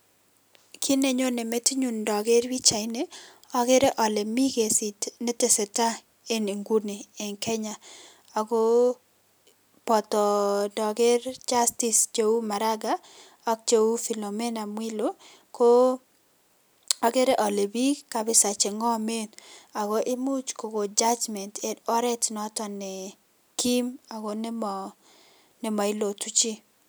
Kit nenyojne metinyun indoker pichaini akere alee miten kesit netese tai enn inguni enn Kenya Ako boto ndoker justice cheu maraga ak jeu Philomena mwilu Koo akere ale bik kabiza che ngomen Ako imuch kokon judgement enn oret noton nee Kim ako nemo nemo ilotu jii.